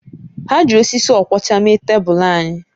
Ha ji osisi ọkwọcha mee tebụl anyị